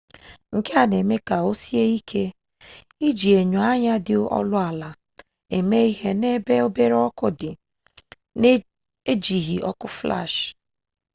nke a na-eme ka o sie iji enyo anya dị ọnụ ala eme ihe n'ebe obere ọkụ dị na-ejighi ọkụ flash